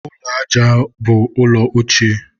ụlọ aja ụrọ bụ ụlọ ochie.